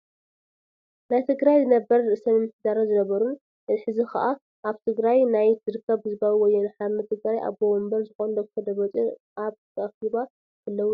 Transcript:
ናይ ትግራይ ነበር ርእሰ ምምሕዳርን ዝነበሩን ። ሕዚ ከዓ ኣብ ትግራይ ናይ ዝርከብ ህዝባዊ ወያነ ሓርነት ትግራይ ኣቦ ወንበር ዝኮኑ ዶ/ር ደብርፅዮን ኣብ ኣኪባ ተለው እዩ።